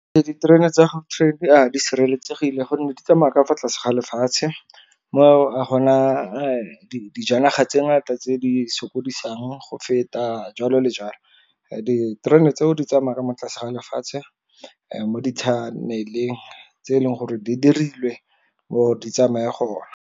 Diterena tsa gautrain di sireletsegile gonne di tsamaya ka fa tlase ga lefatshe, mo a gona dijanaga tse ngata tse di sokodisang go feta jalo le jalo. Diterene tseo di tsamaya mo tlase ga lefatshe mo di-tunnel-eng tse e leng gore di dirilwe gore di tsamaye gona.